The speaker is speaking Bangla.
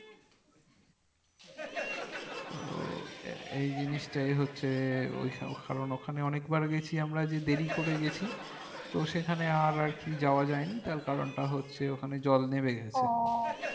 তো এই জিনিসটাই হচ্ছে কারণ ওখানে অনেকবার গেছি আমরা যে দেরি করে গেছি তো সেখানে আর আর কি যাওয়া জানি তার কারণ টা হচ্ছে ওখানে জল নেবে গেছে